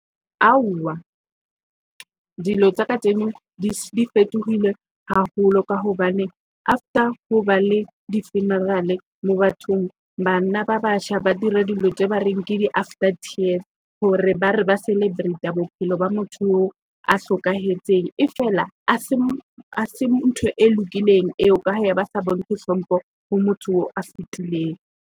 Aowa, dilo tsa kajeno di fetohile haholo ka hobane after ho ba le di-funeral mo bathong bana ba batjha ba dira dilo tse ba reng di-after tears hore ba re ba celebrate bophelo ba motho a hlokahetseng. E feela hase l ntho e lokileng eo ka ha ba se bontshe hlompho ho motho eo a fitileng.